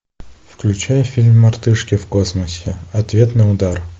включай фильм мартышки в космосе ответный удар